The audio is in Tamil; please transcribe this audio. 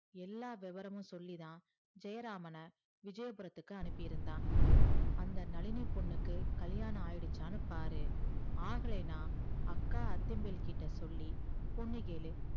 எல்லாம் வேவ்வரமும் சொல்லி தான் ஜெயராமான் விஜயபுரத்துக்கு அனுப்பிருந்தான் அந்த நழினி பொண்ணுக்கு கல்யாணம் ஆயிடுச்சான்னு பாரு அகுலனா அக்கா அத்திம்பேல் கிட்ட சொல்லி பொண்ணு கேளு